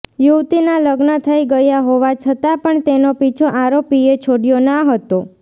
યુવતીના લગ્ન થઈ ગયા હોવા છતાં પણ તેનો પીછો આરોપીએ છોડ્યો ના હતો